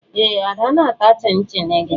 Ee, Ada na-ata chịn-chịn gị